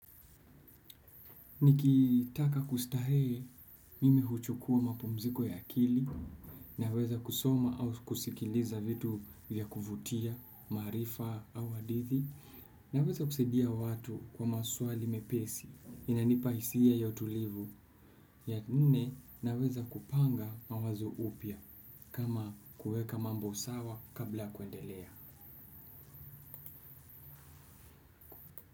Nikitaka kustarehe mimi huchukua mapumziko ya akili, naweza kusoma au kusikiliza vitu vya kuvutia, maarifa au hadithi, naweza kusaidia watu kwa maswali mepesi inanipa hisia ya utulivu, ya nne naweza kupanga mawazo upya kama kuweka mambo sawa kabla ya kuendelea.